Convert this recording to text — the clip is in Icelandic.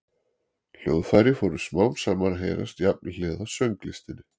hljóðfæri fóru smám saman að heyrast jafnhliða sönglistinni